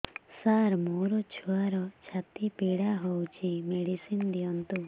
ସାର ମୋର ଛୁଆର ଛାତି ପୀଡା ହଉଚି ମେଡିସିନ ଦିଅନ୍ତୁ